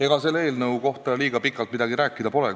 Ega sellest eelnõust pikalt midagi rääkida pole.